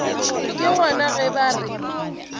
ke gona ge ba re